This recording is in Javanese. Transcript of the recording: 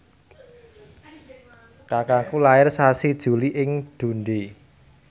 kakangku lair sasi Juli ing Dundee